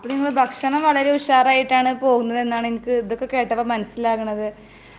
ഭക്ഷണം ഒക്കെ വളരെ ഉഷാർ ആയിട്ടാണ് പോകുന്നത് എന്നാണ് എനിക്ക് ഇതൊക്കെ കേട്ടപ്പോ മനസിലാവുന്നത് .